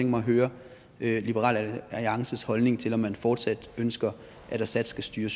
mig at høre liberal alliances holdning til om man fortsat ønsker at assad skal styre